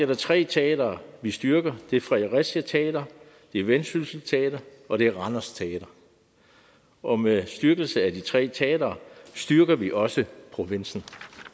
der tre teatre vi styrker det er fredericia teater det er vendsyssel teater og det er randers teater og med styrkelse af de tre teatre styrker vi også provinsen